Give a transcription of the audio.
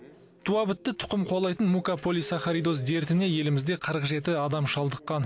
туабітті тұқым қуалайтын мукополисахаридоз дертіне елімізде қырық жеті адам шалдыққан